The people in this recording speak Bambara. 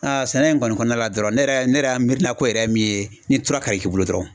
sɛnɛ in kɔni kɔnɔna la dɔrɔn ne yɛrɛ ne yɛrɛ mirina ko yɛrɛ min ye ,ni tura ka k'i bolo dɔrɔnw.